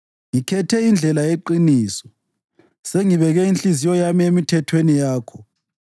Ngikhethe indlela yeqiniso; sengibeke inhliziyo yami emithethweni yakho.